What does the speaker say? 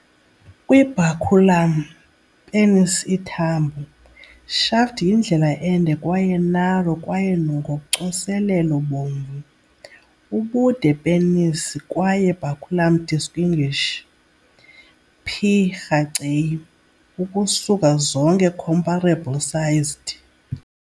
Kwi-baculum, penis ithambo, shaft yindlela ende kwaye narrow kwaye ngocoselelo bomvu. Ubude penis kwaye baculum distinguish "P. raceyi" ukusuka zonke comparably sized.